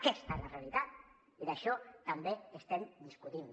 aquesta és la realitat i sobre això també estem discutint